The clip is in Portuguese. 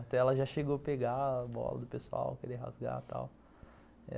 Até ela já chegou a pegar a bola do pessoal, queria rasgar e tal.